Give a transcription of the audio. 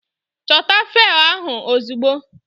Chota fail ahụ ozugbo!